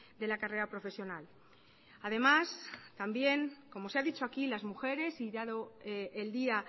de la carrera profesional además también como se ha dicho aquí las mujeres y dado el día